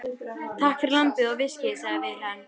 Takk fyrir lambið og viskíið, sagði Vilhelm.